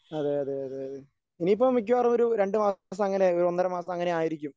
അതേയതേ അതേയതേ ഇനിയിപ്പം മിക്കവാറും ഒരു രണ്ടുമാസം അങ്ങനെ ഒന്നര മാസം അങ്ങനെ ആയിരിക്കും.